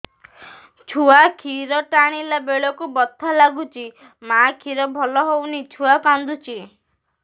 ଛୁଆ ଖିର ଟାଣିଲା ବେଳକୁ ବଥା ଲାଗୁଚି ମା ଖିର ଭଲ ହଉନି ଛୁଆ କାନ୍ଦୁଚି